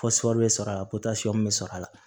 bɛ sɔrɔ a la bɛ sɔrɔ a la